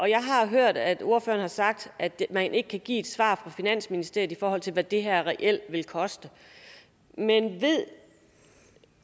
jeg har hørt at ordføreren har sagt at man ikke kan give et svar fra finansministeriets side i forhold til hvad det her reelt ville koste men ved